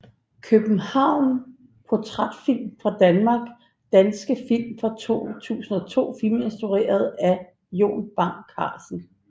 København Portrætfilm fra Danmark Danske film fra 2002 Film instrueret af Jon Bang Carlsen